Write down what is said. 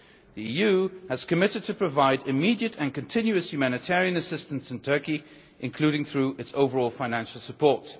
The EU has committed to providing immediate and ongoing humanitarian assistance in Turkey, including through its overall financial support.